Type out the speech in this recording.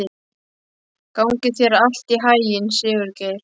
Gangi þér allt í haginn, Sigurgeir.